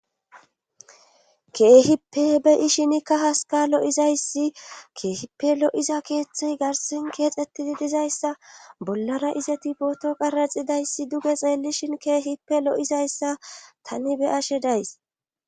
keehippe be7ishinikka haskalo7izayssi keehippe lo7iza keeththey garsin keexxettidi dizayssa bollara izeti pooto qaraxidayssi duge xeellishin keehippe lo7izayssa tani be ashe days